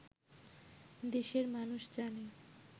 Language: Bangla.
দেশের মানুষ জানে